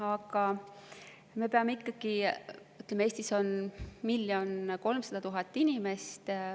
Aga ütleme, Eestis on 1 300 000 inimest.